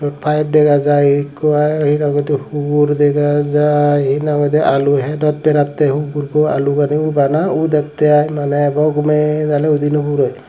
eote faabe dagajai eko hugur degajai henang hoide aluhadot baratay hugurbow alu hate udatay aye nolay arow udi nopuroie.